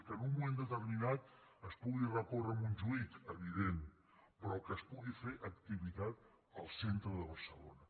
que en un moment determinat es pugui recórrer a montjuïc evident però que es pugui fer activitat al centre de barcelona